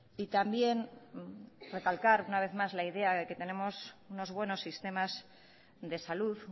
y también recalcar una vez más la idea de que tenemos unos buenos sistemas de salud